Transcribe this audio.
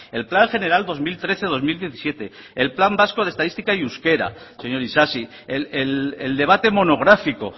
el plan general dos mil trece dos mil diecisiete el plan vasco de estadística y euskera señor isasi el debate monográfico